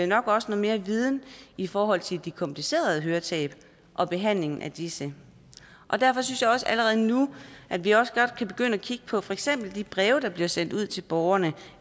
nok også noget mere viden i forhold til de komplicerede høretab og behandlingen af disse derfor synes jeg også allerede nu at vi også godt kan begynde at kigge på for eksempel de breve der bliver sendt ud til borgerne